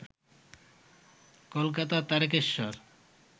Kolkata, Tarakeswar